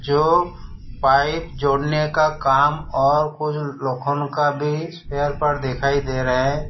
जो पाइप जोड़ने का काम और कुछ का भी चेयर पर दिखाई दे रहे हैं।